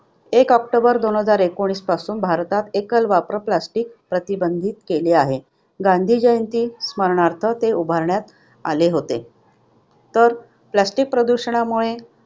एक ऑक्टोबर दोन हजार एकोणीसपासून, भारतात एकल-वापर plastic प्रतिबंधित केले केले आहे. गांधी जयंती स्मरणार्थ ते उभारण्यात आले होते. तर plastic च्या प्रदूषणामुळे